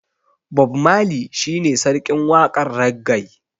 Bob marley shi ne sarkin waƙar raggae.